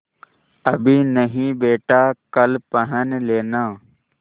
अभी नहीं बेटा कल पहन लेना